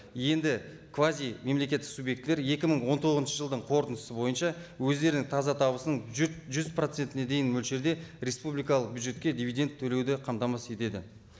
енді квазимемлекеттік субъектілер екі мың он тоғызыншы жылдың қорытындысы бойынша өздерінің таза табысын бюджет жүз процентіне дейін мөлшерде республикалық бюджетке дивиденд төлеуді қамтамасыз етеді